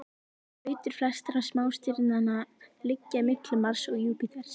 Brautir flestra smástirnanna liggja milli Mars og Júpíters.